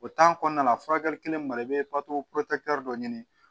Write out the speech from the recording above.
O kɔnɔna la furakɛli kelen ma i bɛ pato dɔ ɲini